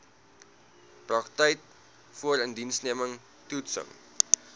praktyk voorindiensneming toetsing